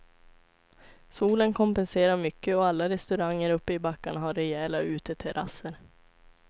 Solen kompenserar mycket och alla restauranger uppe i backarna har rejäla uteterrasser.